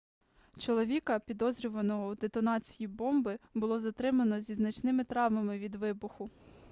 чоловіка підозрюваного у детонації бомби було затримано зі значними травмами від вибуху